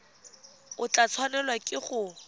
o tla tshwanelwa ke go